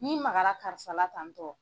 N'i magara karisala tan ni tɔ.